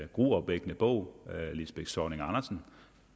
gruopvækkende bog